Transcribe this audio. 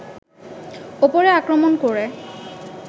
ওপরে আক্রমণ করে